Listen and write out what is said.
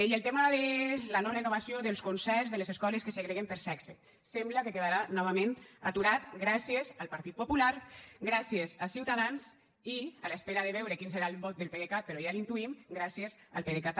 i el tema de la no renovació dels concerts de les escoles que segreguen per sexe sembla que quedarà novament aturat gràcies al partit popular gràcies a ciutadans i en espera de veure quin serà el vot del pdecat però ja l’intuïm gràcies al pdecat també